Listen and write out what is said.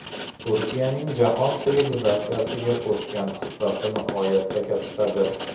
Turklarning jahon sivilizatsiyasiga qo‘shgan hissasi nihoyatda kattadir.